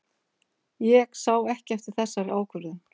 Ég sé ekki eftir þessari ákvörðun.